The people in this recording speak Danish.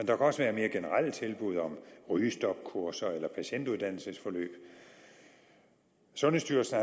kan også være mere generelle tilbud om rygestopkurser eller patientuddannelsesforløb sundhedsstyrelsen